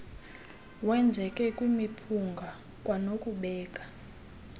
wenzeke kwimiphunga kwanokubeka